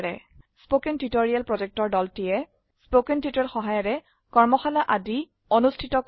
কথন শিক্ষণ প্ৰকল্পৰ দলটিয়ে কথন শিক্ষণ সহায়িকাৰে কৰ্মশালা আদি অনুষ্ঠিত কৰে